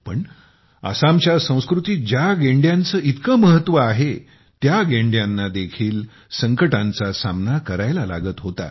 पण आसामच्या संस्कृतीत ज्या गेंड्यांचे इतके महत्त्व आहे त्या गेंड्यानादेखील संकटांचा सामना करायला लागत होता